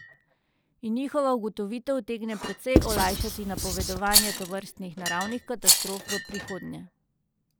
In njihova ugotovitev utegne precej olajšati napovedovanje tovrstnih naravnih katastrof v prihodnje.